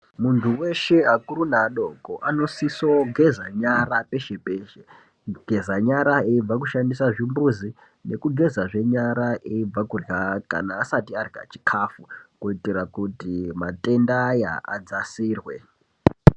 Muntu weshe akuru neadoko anosiso geza nyara peshe-peshe kugeza nyara eibva kushandisa zvimbuzi nekugezazve nyara eibva kurya kana asati arya chikafu kuti matenda aya adzasirwe.